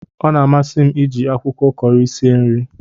Ọ na amasi m iji akwụkwọ Kọri sie nri